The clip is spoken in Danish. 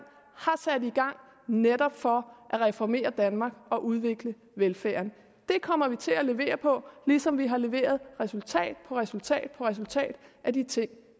netop for at reformere danmark og udvikle velfærden det kommer vi til at levere på ligesom vi har leveret resultat på resultat på resultat af de ting